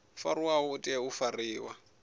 fariwaho u tea u fariwa